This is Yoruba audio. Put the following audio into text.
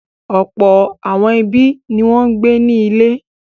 Ọ̀pọ̀ àwọn ẹbí ni wọ́n ń gbé ní ilé.